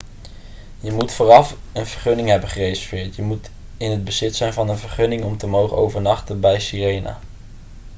je moet vooraf een vergunning hebben gereserveerd je moet in het bezit zijn van een vergunning om te mogen overnachten bij sirena